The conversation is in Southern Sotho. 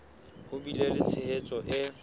ho bile le tshehetso e